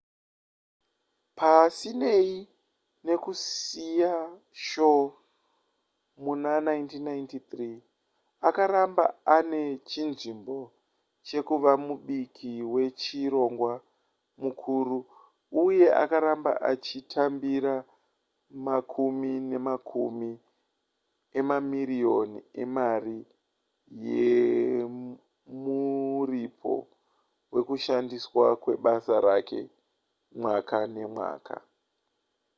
pasinei nekusiya shoo muna 1993 akaramba ane chinzvimbo chekuva mubiki wechirongwa mukuru uye akaramba achitambira makumi nemakumi emamiriyoni emari yemuripo wekushandiswa kwebasa rake mwaka nemwaka